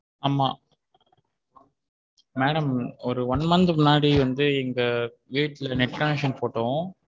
ஆமா madam ஒரு one month க்கு முன்னாடி வந்து எங்க வீட்டுல net connection போட்டோம்.